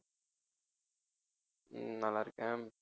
ஹம் நல்லா இருக்கேன்